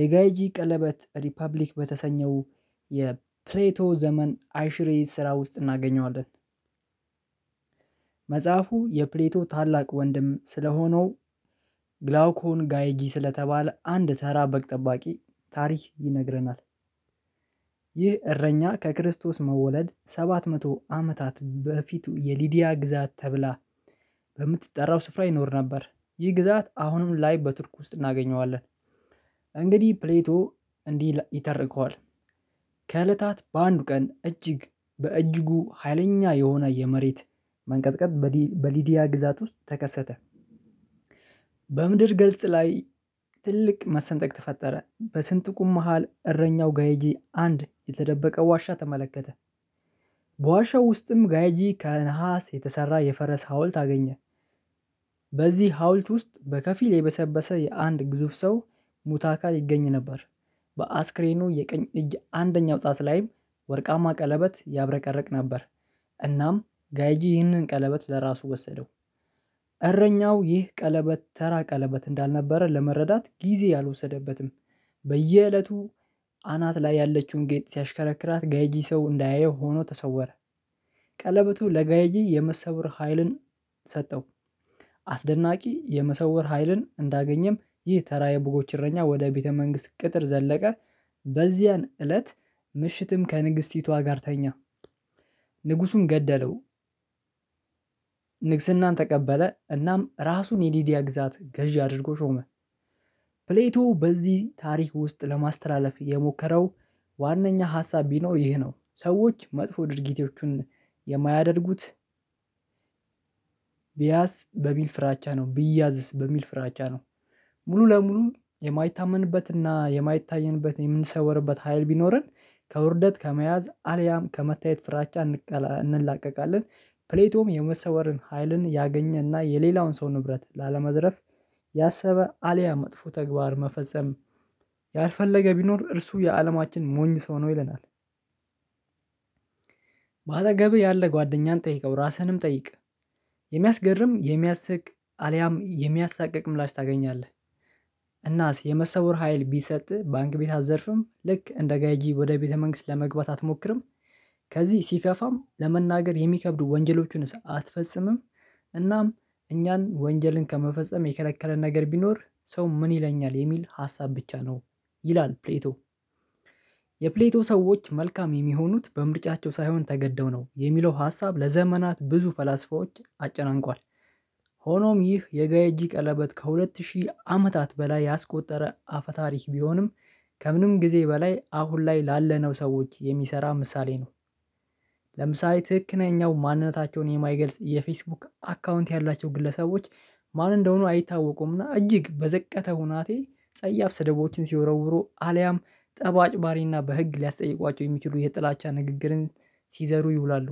የጋይጂ ቀለበት ሪፐብሊክ በተሰኘው የፕሌቶ ዘመን አይሽሬ ስራ ውስጥ እናገኘዋለን። መጽሐፉ የፕሌቶ ታላቅ ወንድም ስለሆነው ግላውኮን ጋይጂ ስለተባለ አንድ ተራ በግ ጠባቂ ታሪክ ይነግረናል። ይህ እረኛ ከክርስቶስ መወለድ ሰባት መቶ አመታት በፊቱ የሊዲያ ግዛት ተብላ በምትጠራው ስፍራ ይኖር ነበር። ይህ ግዛት አሁንም ላይ በቱርክ ውስጥ እናገኘዋለን። እንግዲህ ፕሌቶ እንዲህ ይተርከዋል። ከእለታት በአንዱ ቀን እጅግ በእጅጉ ሀይለኛ የሆነ የመሬት መንቀጥቀጥ በሊዲያ ግዛት ውስጥ ተከሰተ። በምድር ገልጽ ላይ ትልቅ መሰንጠቅ ተፈጠረ በስንጥቁም መሃል እረኛው ጋይጂ አንድ የተደበቀ ዋሻ ተመለከተ። በዋሻው ውስጥም ጋይጂ ከነሃስ የተሰራ የፈረስ ሀውልት አገኘ። በዚህ ሀውልት ውስጥ በከፊል የበሰበሰ የአንድ ግዙፍ ሰው ሙት አካል ይገኝ ነበር። በአስክሬኑ የቀኝ እጅ አንደኛው ጣት ላይም ወርቃማ ቀለበት ያብረቀረቅ ነበር። እናም ጋይጂ ይህንን ቀለበት ለራሱ ወሰደው። እረኛው ይህ ቀለበት ተራ ቀለበት እንዳልነበረ ለመረዳት ጊዜ አልወሰደበትም። በየእለቱ አናት ላይ ያለችውን ጌጥ ሲያሽከረክራት ጋይጂ ሰው እንዳያየው ሆኖ ተሰወረ። ቀለበቱ ለጋይጂ የመሰወር ሀይልን ሰጠው። አስደናቂ የመሰወር ሀይልን እንዳገኘም ይህ ተራ የበጎች እረኛ ወደ ቤተ መንግስት ቅጥር ዘለቀ። በዚያን እለት ምሽትም ከንግስቲቷ ጋር ተኛ። ንጉሱም ገደለው። ንግስናን ተቀበለ እናም ራሱን የዲዲያ ግዛት ገዢ አድርጎ ሾመ። ፕሌቶ በዚህ ታሪክ ውስጥ ለማስተላለፍ የሞከረው ዋናኛ ሀሳብ ቢኖር ይሄ ነው። ሰዎች መጥፎ ድርጊቶቹን የማያደርጉት። ብያስ በሚል ፍራቻ ነው ቢያዝስ በሚል ፍራቻ ነው። ሙሉ ለሙሉ የማይታመንበት እና የማይታየንበት የምንሰወርበት ሀይል ቢኖረን ከውርደት ከመያዝ አልያም ከመታየት ፍራቻ እንላቀቃለን። ፕሌቶም የመሰወርን ሀይልን ያገኘ እና የሌላውን ሰው ንብረት ላለመዝረፍ ያሰበ አልያ መጥፎ ተግባር መፈጸም ያልፈለገ ቢኖር እርሱ የአለማችን ሞኝ ሰው ነው ይለናል። በአጠገብህ ያለ ጓደኛን ጠይቀው ራስህንም ጠይቅ የሚያስገርም የሚያስቅ አልያም የሚያሳቅቅም ምላሽ ታገኛለህ። እናስ የመሰወር ሀይል ቢሰጥ ባንክ ቤት አትዘርፍም ልክ እንደ ጋይጂ ወደ ቤተ መንግስት ለመግባት አትሞክርም። ከዚህ ሲከፋም ለመናገር የሚከብዱ ወንጀሎቹን አትፈጽምም። እናም እኛን ወንጀልን ከመፈጸም የከለከለ ነገር ቢኖር ሰው ምን ይለኛል የሚል ሀሳብ ብቻ ነው ይላል ፕሌቶ። የፕሌቶ ሰዎች መልካም የሚሆኑት በምርጫቸው ሳይሆን ተገደው ነው የሚለው ሀሳብ ለዘመናት ብዙ ፈላስፋዎች አጨናንቋል። ሆኖም ይህ የጋይጂ ቀለበት ከሁለት ሺህ አመታት በላይ ያስቆጠረ አፈ ታሪክ ቢሆንም ከምንም ጊዜ በላይ አሁን ላይ ላለነው ሰዎች የሚሰራ ምሳሌ ነው። ለምሳሌ ትክክለኛው ማንነታቸውን የማይገልጽ የፌስቡክ አካውንት ያላቸው ግለሰቦች ማን እንደሆኑ አይታወቁምና እጅግ በዘቀተ ሁናቴ ጸያፍ ስደቦችን ሲወረውሩ አልያም ጠብአጭባሪና በህግ ሊያስጠይቋቸው የሚችሉ የጥላቻ ንግግርን ሲዘሩ ይውላሉ።